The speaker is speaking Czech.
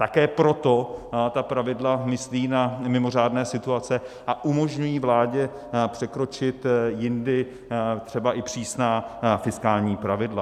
Také proto ta pravidla myslí na mimořádné situace a umožňují vládě překročit jindy třeba i přísná fiskální pravidla.